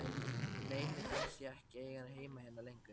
Nei, mér fannst ég ekki eiga heima hérna lengur.